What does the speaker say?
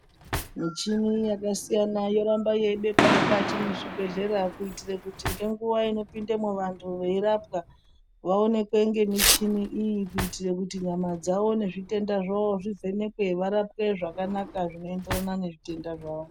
Muchini yakasiyana yoramba yeibekwa mukati mwezvibhehlera kuitire kuti ngenguwa inopindemo vantu veirapwa vaonekwe ngemuchini iyi kuitire kuti nyama dzawo nezvitenda zvawo zvivhenekwe varapwe zvakanaka zvinoenderana nezvitenda zvawo